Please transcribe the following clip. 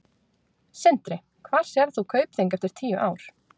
Sindri: Hvar sérð þú Kaupþing eftir tíu ár?